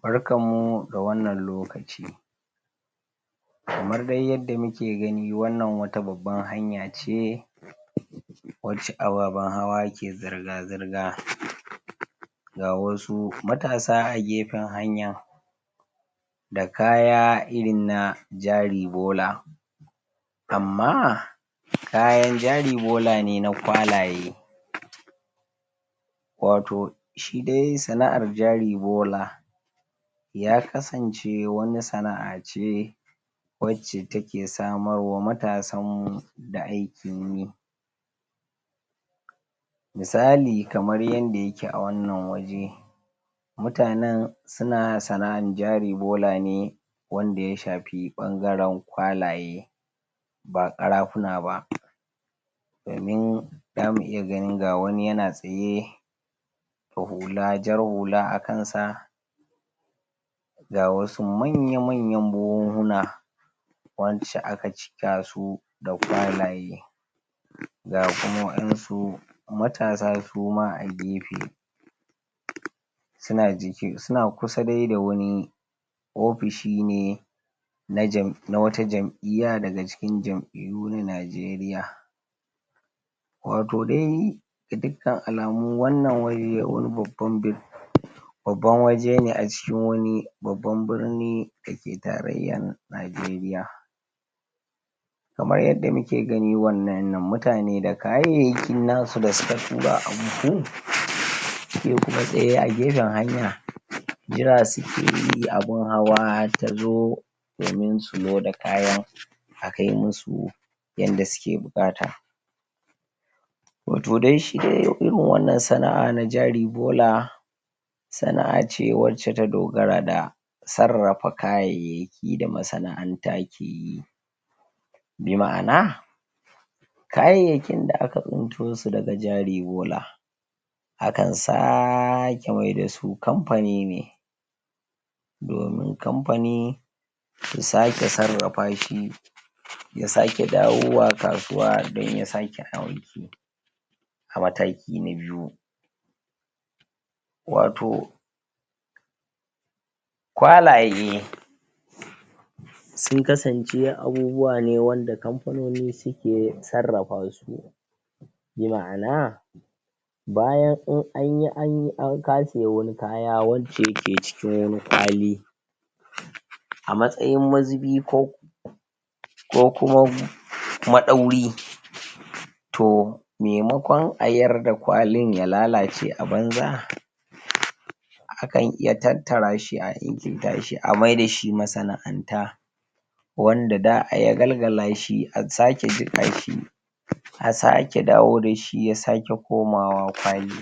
Barkanmu da wannan lokaci kamar de yanda muke gani, wannan wata babban hanya ce wacca ababan hawa ke zirga-zirga ga wasu matasa a gefen hanya da kaya irin na jari bola amma kayan jari bola ne na kwalaye wato shi de sana'ar jari bola ya kasance wani sana'a ce wace take samar wa matasanmu da aikin yi misali kamar yanda yake a wannan waje mutannen suna sana'ar jari bola ne wanda ya shafi ɓangaren kwalaye ba ƙarafuna ba za mu iya ganin ga wani yana tsaye ga hula, jar hula a kansa ga wasu manya-manya buhunhuna wacca aka cikasu da kwalaye ga kuma wayansu matasa kuma a gefe suna kusa de da wani ofishi ne na wata jam'iyar daga wata jam'iyyu na Najeriya watau de ga dukkan alamu wannan wai wani babban babban wajene acikin wani babban birni dake tarayyan Najeriya kamar yada muke gani wayannan nan mutane da kayayaki na su da suka tura a buhu se kuma ɗaya a gefen hanya jira sukeyi abun hawa tazo domin su loda kayan a kai musu yanda suke buƙata wato de shi de irin wannan sana'a na jari bola sana'ace wacce ta dogara da sarrafa kayyayaki da masana'anta ke yi me ma'ana kayyayakin da aka tsintosu daga jari bola akan sake miyar dasu kamfani ne domin kamfani su sake sarrafa shi ya sake dawowa kasuwa dan ya sake aiki mataki na biyu wato kwalaye sun kasance abubuwane wanda kamfanoni suke sarrafasu me ma'ana bayan in anyi anyi in ka siya wani kaya wanda yace cikin wani kwali a matsayin mazubi ko ko kuma ma ɗauri toh me makon a yarda kwalin ya lalace a banza akan iya tattara shi a ingilta shi miyarda shi masana'anta wanda za'a yagalgalashi a sake jikashi a sake dawo dashi ya sake komawa kwali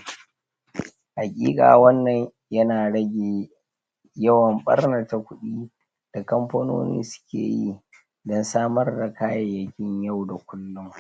hakika wannan yana rage yawwan ɓarnata ƙudi da kamfanoni suke yi dan samar da kayyayaki yau da kullum.